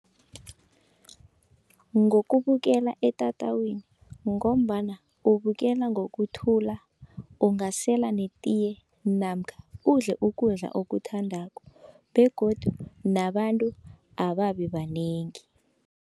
Ngokubukela etatawini, ngombana ubukela ngokuthula ungasela netiye, namkha udle ukudla okuthandako begodu nabantu ababi banengi.